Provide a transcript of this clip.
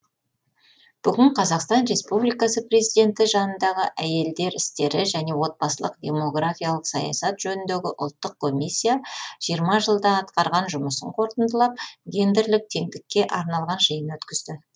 бүгін қазақстан республикасы президенті жанындағы әйелдер істері және отбасылық демографиялық саясат жөніндегі ұлттық комиссия жиырма жылда атқарған жұмысын қорытындылап гендерлік теңдікке арналған жиын өткізді